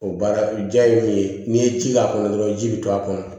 O baara o jaa ye mun ye n'i ye ji k'a kɔnɔ dɔrɔn ji bɛ to a kɔnɔ